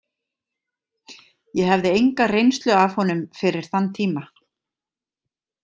Ég hafði enga reynslu af honum fyrir þann tíma.